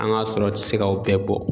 An ga sɔrɔ ti se ga o bɛɛ bɔ